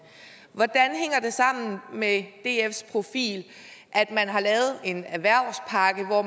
sammen med dfs profil at man har lavet en erhvervspakke hvor